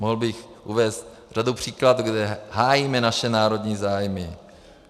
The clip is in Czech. Mohl bych uvést řadu příkladů, kde hájíme naše národní zájmy.